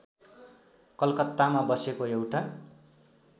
कलकत्तामा बसेको एउटा